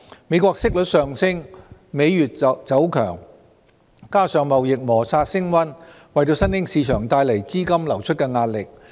美國息率上升，美元走強，加上貿易摩擦升溫，為新興市場帶來資金流出的壓力。